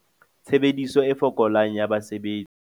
Tshebediso e fokolang ya basebetsi